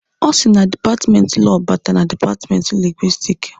O sị na dipatmenti Lọọ bata na dipatmenti Lingwisitiki.